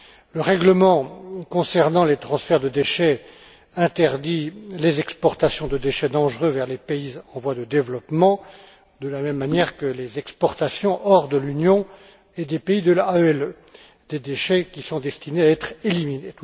Le règlement concernant les transferts de déchets interdit les exportations de déchets dangereux vers les pays en voie de développement de la même manière que les exportations hors de l'Union et des pays de l'AELE des déchets qui sont destinés à être éliminés.